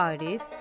Arif.